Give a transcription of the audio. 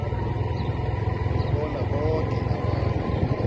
bona boke abantu